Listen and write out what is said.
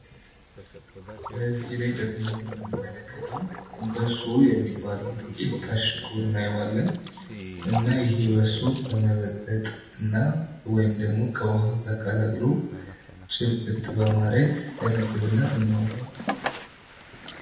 በዚህ ላይ ደግሞ የምንመለከተው በሶ የሚባለውን ዱቀት ታሽጎ እናየዋለን። እና ይሄ በሶ በመበጥበት ወይም ደግሞ ከውሃ ቀላቅሎ ጭብጥ በማድረግ ለምግንነት እናውለዋለን